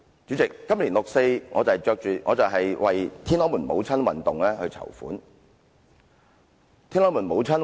主席，在今年六四晚會，我們為"天安門母親運動"籌款。